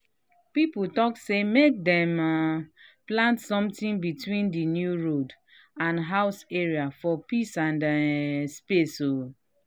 people talk say make dem um plant something between the new road and house area for peace and um space.